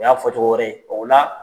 O y'a fɔcogo wɛrɛ ye o na